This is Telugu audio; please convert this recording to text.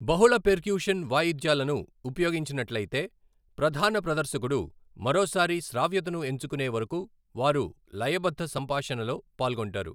బహుళ పెర్క్యుషన్ వాయిద్యాలను ఉపయోగించినట్లయితే, ప్రధాన ప్రదర్శకుడు మరోసారి శ్రావ్యతను ఎంచుకునే వరకు వారు లయబద్ధ సంభాషణలో పాల్గొంటారు.